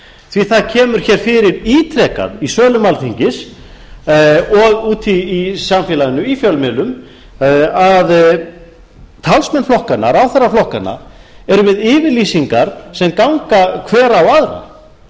því að það kemur hér fyrir ítrekað í sölum alþingis og úti í samfélaginu í fjölmiðlum að talsmenn flokkanna ráðherrar flokkanna eru með yfirlýsingar sem ganga hver á aðra